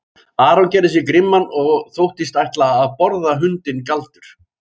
Aron gerði sig grimman og þóttist ætla að borða hundinn Galdur.